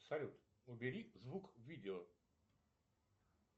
салют убери звук в видео